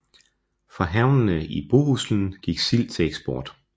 Fra havnene i Bohuslen gik sild til eksport